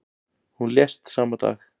Hún lést sama dag.